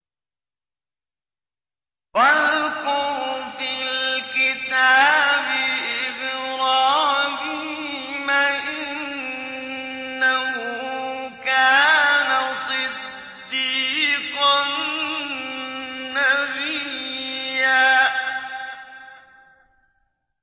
وَاذْكُرْ فِي الْكِتَابِ إِبْرَاهِيمَ ۚ إِنَّهُ كَانَ صِدِّيقًا نَّبِيًّا